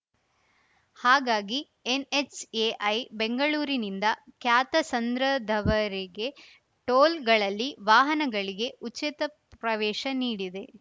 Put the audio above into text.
ಹಾಗಾಗಿ ಎನ್‌ಎಚ್‌ಎಐ ಬೆಂಗಳೂರಿನಿಂದ ಕ್ಯಾತಸಂದ್ರದವರೆಗೆ ಟೋಲ್‌ಗಳಲ್ಲಿ ವಾಹನಗಳಿಗೆ ಉಚಿತ ಪ್ರವೇಶ ನೀಡಿದೆ